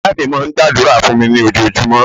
Ìya mi máa n gba àdúrà fún mi ní ojojúmó